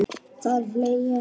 Það er hlegið.